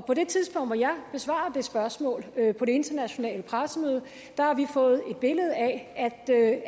på det tidspunkt hvor jeg besvarer det spørgsmål på det internationale pressemøde har vi fået et billede af